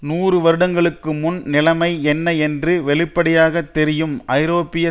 நூறு வருடங்களுக்கு முன் நிலைமை என்ன என்று வெளிப்படையாக தெரியும் ஐரோப்பிய